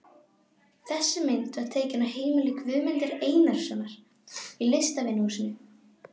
Þessi mynd var tekin á heimili Guðmundar Einarssonar í Listvinahúsinu.